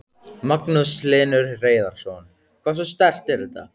Magnús Hlynur Hreiðarsson: Hversu sterkt er þetta?